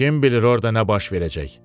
Kim bilir orda nə baş verəcək?